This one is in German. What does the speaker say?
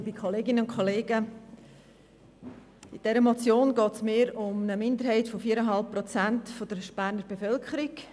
In dieser Motion geht es eher um eine Minderheit von 4,5 Prozent der Berner Bevölkerung.